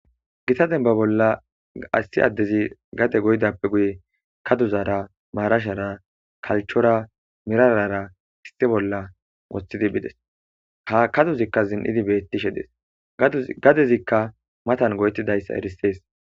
Gita denba bolla assi addezi gade goydappe guye kaduzara maarashara kalchora mirarara isti bolla woththidi bides hakaduzikka zin'idi beettishe des gadezikka matan goyetidayssa erisees.